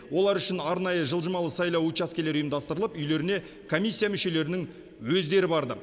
олар үшін арнайы жылжымалы сайлау учаскелері ұйымдастырылып үйлеріне комиссия мүшелерінің өздері барды